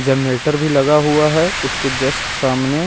generator भी लगा हुआ है उसके जस्ट सामने--